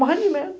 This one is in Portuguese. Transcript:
Morrendo de medo.